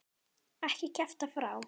Ekki kjafta frá.